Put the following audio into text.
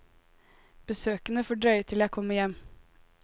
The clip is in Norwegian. Besøkene får drøye til jeg kommer hjem.